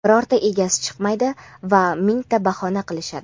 birorta egasi chiqmaydi va mingta bahona qilishadi.